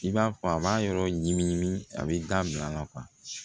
I b'a fɔ a b'a yɔrɔ ɲimi ɲimi a bɛ dabil'a la kuwa